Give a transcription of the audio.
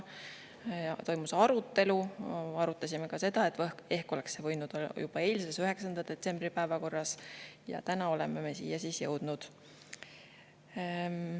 Toimus arutelu, arutasime ka seda, et ehk oleks see võinud olla juba eilses, 9. detsembri päevakorras, ja täna oleme me siis siia jõudnud.